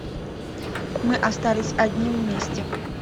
мы остались одни вместе